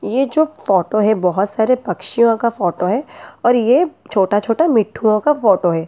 ये जो फोटो है बहुत सारे पक्षियों का फोटो है और ये छोटा-छोटा मिठुओं का फोटो है।